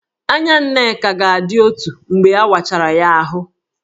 Anya Nneka ga-adị otu mgbe a wachara ya ahụ